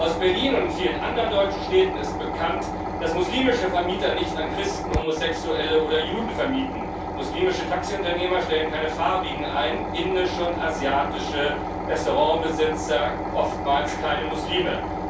Aus Berlin und vielen anderen deutschen Städten ist bekannt, dass muslimische Vermieter nicht an Christen, Homosexuelle oder Juden vermieten, muslimische Taxiunternehmer stellen keine Farbigen ein, indische und asiatische Restaurantbesitzer oftmals keine Muslime.